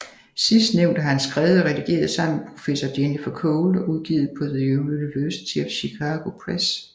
Sidstnævnte har han skrevet og redigeret sammen med professor Jennifer Cole og udgivet på The University of Chicago Press